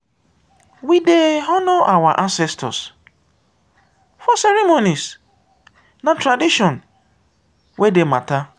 we dey honor our ancestors for ceremonies; na tradition wey dey matter.